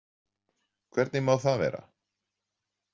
Hvernig má það vera?